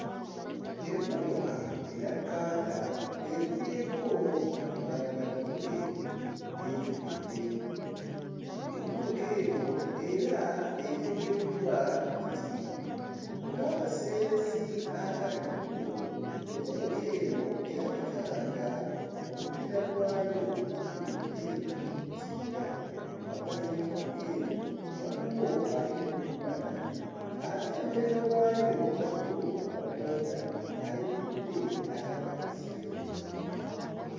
Emmotoka eya kkanta, ekubyeko amanda bugule etubidde. Emmotoka eno era etegeddwa miti. Olw'akaseerezi akali mu kkubo, emmotoka eno erabika nga omupiira gwayo gutubidde mu kinnya mmabbali g'emmotoka eno waliwo ate ne lukululana ate emabega waayo waliyo ow'a booda ayimiridde alaba ekigenda mmaaso.